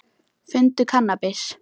Fundu kannabis